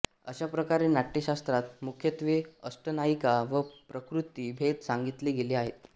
अशाप्रकारे नाट्यशास्त्रात मुख्यत्वे अष्टनायिका व प्रकृति भेद सांगितले गेले आहेत